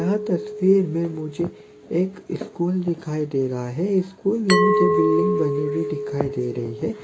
यहाँ तस्वीर में मुझे एक स्कूल दिखाई दे रहा है स्कूल में मुझे बिल्डिंग बनी हुई दिखाई दे रही है।